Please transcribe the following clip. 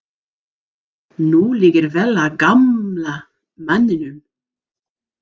Nú liggur vel á gamla manninum.